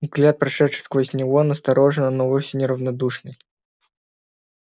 взгляд прошедший сквозь него настороженный но вовсе не равнодушный